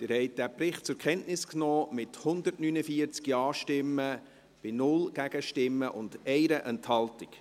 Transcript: Sie haben den Bericht mit 149 Ja- bei 0 Nein-Stimmen und 1 Enthaltung zur Kenntnis genommen.